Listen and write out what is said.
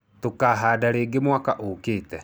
Tũkahanda rĩngĩ mwaka ũũkĩte.